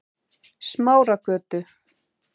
Smáragötu